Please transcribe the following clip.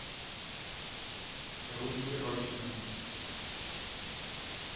руди рощину